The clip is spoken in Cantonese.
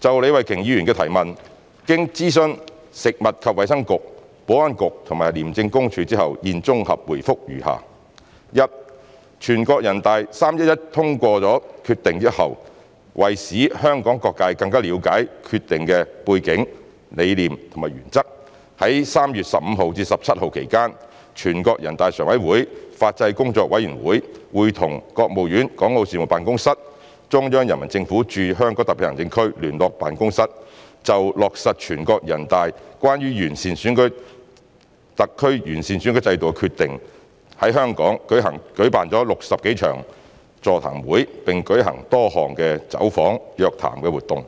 就李慧琼議員的質詢，經諮詢食物及衞生局、保安局及廉政公署後，現綜合答覆如下：一全國人大在3月11日通過《決定》後，為使香港各界更了解《決定》的背景、理念和原則，在3月15日至17日期間，全國人大常委會法制工作委員會會同國務院港澳事務辦公室、中央人民政府駐香港特別行政區聯絡辦公室就落實全國人大關於完善香港特別行政區選舉制度的決定，在香港舉辦了60多場座談會並舉行各項走訪、約談等活動，